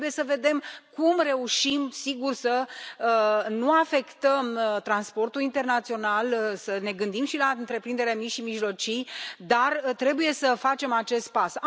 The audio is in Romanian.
Trebuie să vedem cum reușim, sigur, să nu afectăm transportul internațional, să ne gândim și la întreprinderile mici și mijlocii, dar trebuie să facem acest pas.